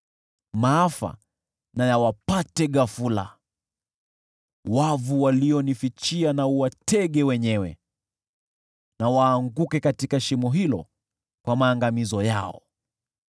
maafa na yawapate ghafula: wavu walionifichia na uwatege wenyewe, na waanguke katika shimo hilo, kwa maangamizo yao.